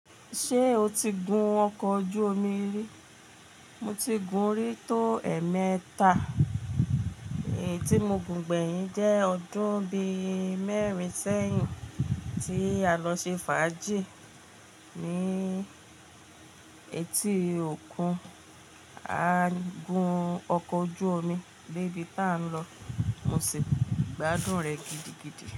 Ṣé o ti gun ọkọ̀ ojú omi rí? Mo ti gun rí tó ẹ̀ẹ́mẹta, èyí tí mo gùn gbẹ̀yìn jẹ́ ọdún bí mẹ́rin sẹ́yìn tí a lọ ṣe fàájì ní etí òkun, a gun ọkọ̀ ojú omi, débì tá ń lọ, mo sì gbádùn rẹ̀ gidigidi.